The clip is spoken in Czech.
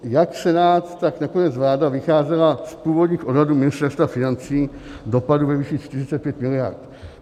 Jak Senát, tak nakonec vláda vycházela z původních odhadů Ministerstva financí dopadů ve výši 45 miliard.